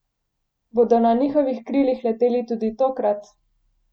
Bodo na njihovih krilih leteli tudi tokrat?